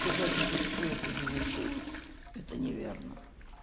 сказать что всё это завершилось это неверно